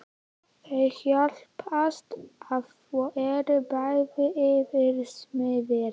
Þau hjálpast að og eru bæði yfirsmiðir.